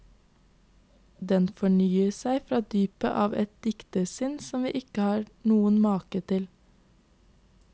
Den fornyer seg fra dypet av et diktersinn som vi ikke har noen make til.